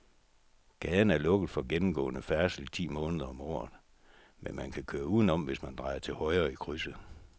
Gaden er lukket for gennemgående færdsel ti måneder om året, men man kan køre udenom, hvis man drejer til højre i krydset.